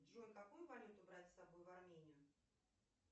джой какую валюту брать с собой в армению